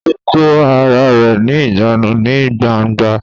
Ó kó ara rẹ ní ìjánu ní gbangba